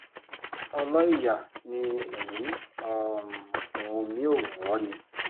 ọlọ́ìyá ni èyí um wù mí ó wù ọ́ ni